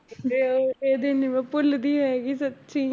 ਤੇ ਉਹ ਇਹਦੇ ਨੀ ਮੈਂ ਭੁੱਲਦੀ ਹੈਗੀ ਸੱਚੀ